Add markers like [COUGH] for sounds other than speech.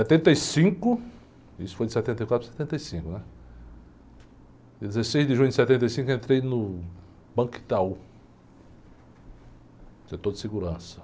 Setenta e cinco, isso foi de setenta e quatro para setenta e cinco, né? Dia dezesseis de junho de setenta e cinco, entrei no, [UNINTELLIGIBLE] setor de segurança.